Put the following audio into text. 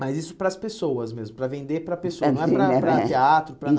Mas isso para as pessoas mesmo, para vender para as pessoas, não é para para teatro, para